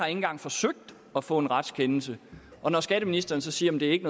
engang forsøgt at få en retskendelse og når skatteministeren så siger at det ikke